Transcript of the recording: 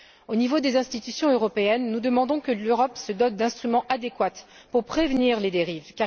Au niveau des institutions européennes, nous demandons que l'Europe se dote d'instruments adéquats pour prévenir les dérives.